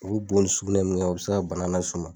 U bɛ bo ni sugunɛ min kɛ u bɛ se ka bana las'u ma.